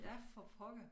Ja for pokker